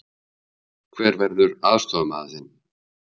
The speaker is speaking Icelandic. Hver verður aðstoðarmaður þinn?